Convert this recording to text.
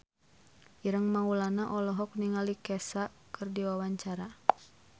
Ireng Maulana olohok ningali Kesha keur diwawancara